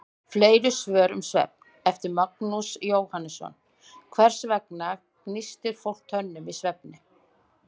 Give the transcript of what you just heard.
Fleiri svör um svefn, eftir Magnús Jóhannsson: Hvers vegna gnístir fólk tönnum í svefni?